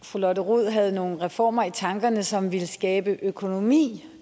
at fru lotte rod havde nogle reformer i tankerne som ville skabe økonomi